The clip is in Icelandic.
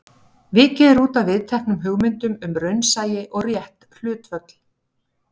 Vikið er útaf viðteknum hugmyndum um raunsæi og rétt hlutföll.